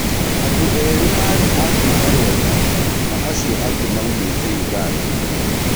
Andũerĩ marĩ a kuma Rwanda na acio angĩ maumĩte ũganda.